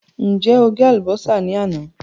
Ǹjẹ́ o gé àlùbọ́sà ní àná?